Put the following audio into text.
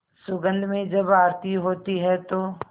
सुगंध में जब आरती होती है तो